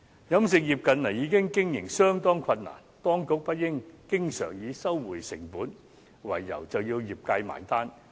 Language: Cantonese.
飲食業近年經營已經相當困難，當局不應經常以收回成本為由，便要業界"埋單"。